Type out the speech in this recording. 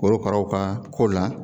Korokaraw ka ko la